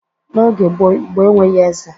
N'oge gboo, Igbo enweghi eze